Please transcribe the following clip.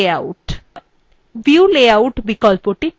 view layout বিকল্পটি text documentsএর জন্য লাগে